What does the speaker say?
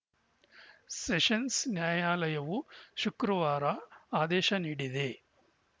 sessions ನ್ಯಾಯಾಲಯವು ಶುಕ್ರವಾರ ಆದೇಶ ನೀಡಿದೆ